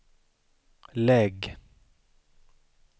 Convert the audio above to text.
lägg